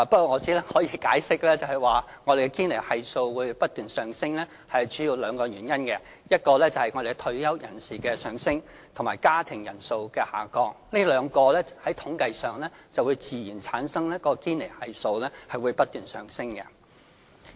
我只可以解釋，我們的堅尼系數不斷上升主要有兩個原因，一是我們的退休人士數目上升，二是家庭人數下降，這兩項因素自然會令堅尼系數不斷上升。